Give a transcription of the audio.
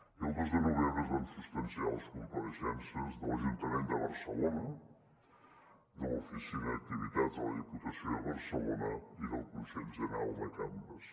i el dos de novembre es van substanciar les compareixences de l’ajuntament de barcelona de l’oficina d’activitats de la diputació de barcelona i del consell general de cambres